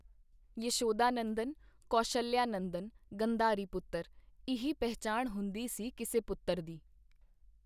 ਯਸ਼ੋਦਾ ਨੰਦਨ, ਕੌਸ਼ਲਿਆ ਨੰਦਨ, ਗੰਧਾਰੀ ਪੁੱਤਰ, ਇਹੀ ਪਹਿਚਾਣ ਹੁੰਦੀ ਸੀ ਕਿਸੇ ਪੁੱਤਰ ਦੀ।